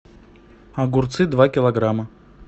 огурцы два килограмма